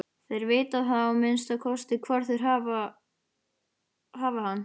Þeir vita þá að minnsta kosti hvar þeir hafa hann.